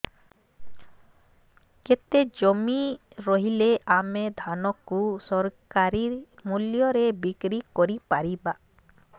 କେତେ ଜମି ରହିଲେ ଆମେ ଧାନ କୁ ସରକାରୀ ମୂଲ୍ଯରେ ବିକ୍ରି କରିପାରିବା